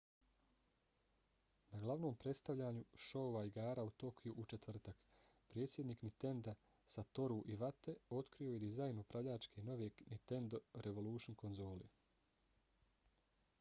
na glavnom predstavljanju šoua igara u tokiju u četvrtak predsjednik ninenda satoru iwate otkrio je dizajn upravljača nove nintendo revolution konzole